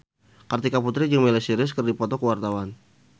Kartika Putri jeung Miley Cyrus keur dipoto ku wartawan